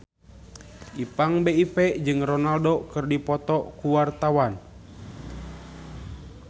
Ipank BIP jeung Ronaldo keur dipoto ku wartawan